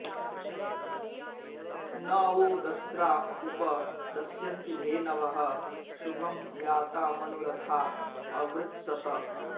न वो दस्रा उप दस्यन्ति धेनवः शुभं यातामनु रथा अवृत्सत